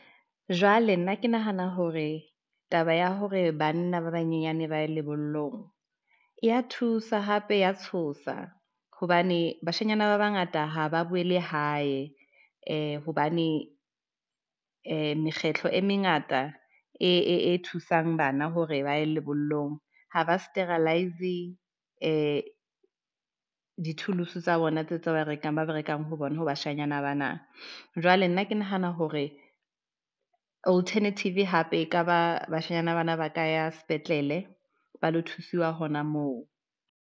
Jwale nna ke nahana hore taba ya hore banna ba banyenyane ba ye lebollong e ya thusa hape ya tshosa hobane bashanyana ba bangata ha ba boele hae. Hobane mekgetlo e mengata e thusang bana hore ba ye lebollong ha ba Sterilize di tools tsa bona tseo rekang ho bona ho bashanyana bana. Jwale nna ke nahana hore alternative hape, ekaba bashanyana bana ba ka ya sepetlele ba lo thusiwa hona moo.